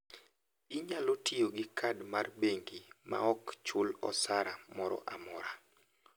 Inyalo tiyo gi kad mar bengi maok chul osara moro amora.